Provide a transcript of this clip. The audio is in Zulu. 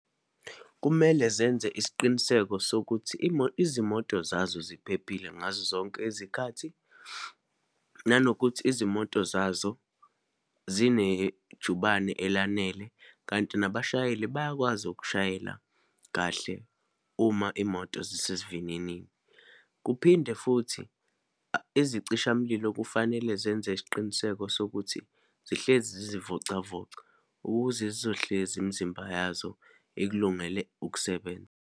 Kumele zenze isiqiniseko sokuthi izimoto zazo ziphephile ngazozonke izikhathi, nanokuthi izimoto zazo zinejubane elanele, kanti nabashayeli bayakwazi ukushayela kahle uma imoto zisesivininini. Kuphinde futhi, izicishamlilo kufanele zenze isiqiniseko sokuthi zihlezi zizivocavoca ukuze zizohlezi imizimba yazo ikulungele ukusebenza.